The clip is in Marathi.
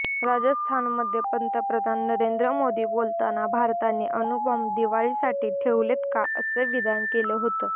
राजस्थानमध्ये पंतप्रधान नरेंद्र मोदी बोलताना भारताने अणुबॉम्ब दिवाळीसाठी ठेवलेत का असं विधान केलं होतं